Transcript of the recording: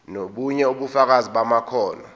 nobunye ubufakazi bamakhono